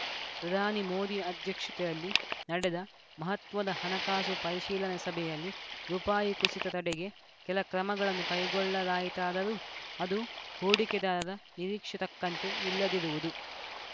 ಪ್ರಧಾನಿ ಮೋದಿ ಅಧ್ಯಕ್ಷತೆಯಲ್ಲಿ ನಡೆದ ಮಹತ್ವದ ಹಣಕಾಸು ಪರಿಶೀಲನೆ ಸಭೆಯಲ್ಲಿ ರುಪಾಯಿ ಕುಸಿತ ತಡೆಗೆ ಕೆಲ ಕ್ರಮಗಳನ್ನು ಕೈಗೊಳ್ಳಲಾಯಿತಾದರೂ ಅದು ಹೂಡಿಕೆದಾರರ ನಿರೀಕ್ಷೆ ತಕ್ಕಂತೆ ಇಲ್ಲದಿರುವುದು